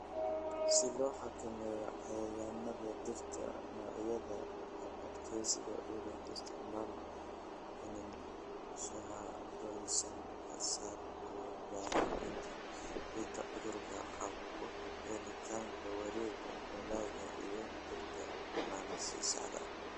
"Si loo xakameeyo cayayaannada, dhirta noocyada adkaysiga u leh, isticmaal iniin shahaadoysan, ka saar & baabi'inta dhirta cudurka qaba, ku celcelinta wareegga dalagga iyo dhirta bannaan si sax ah."